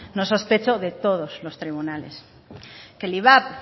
no sospechó de todos los tribunales que el ivap